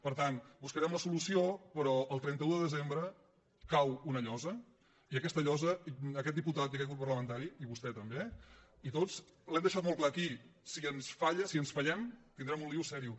per tant buscarem la solució però el trenta un de desembre cau una llosa i aquesta llosa aquest diputat i aquest grup parlamentari i vostè també i tots ho hem deixat molt clar aquí si ens falla si ens fallem tindrem un lio serio